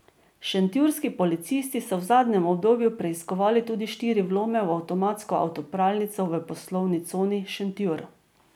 Šentjurski policisti so v zadnjem obdobju preiskovali tudi štiri vlome v avtomatsko avtopralnico v poslovni coni Šentjur.